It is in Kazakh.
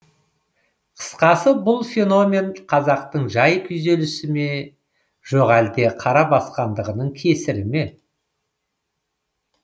қысқасы бұл феномен қазақтың жан күйзелісі ме жоқ әлде қара басқандығының кесірі ме